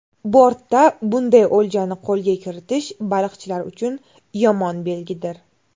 Bortda bunday o‘ljani qo‘lga kiritish baliqchilar uchun yomon belgidir.